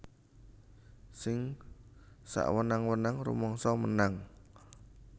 Sing sawenang wenang rumangsa menang